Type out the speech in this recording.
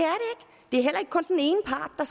er